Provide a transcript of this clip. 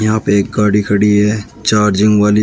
यहां पे एक गाड़ी खड़ी है चार्जिंग वाली।